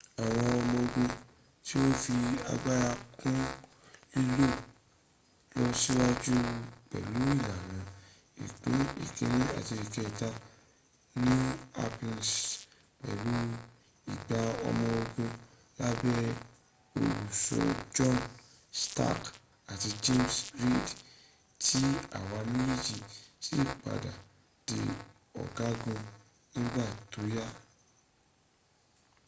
àwọn ọmọ ogun tí o ń fi agbára kún lílọ síwájú pẹ̀lú ìlànà ìpín ìkíní àti ìkẹta new hampshirs pẹ̀lú igba ọmọ ogun lábé olùsọ john stark àti james reed tí àwọn méjèèjì sì padà di ọgagun nígbà tó yá